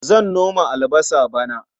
Zan noma albasa bana.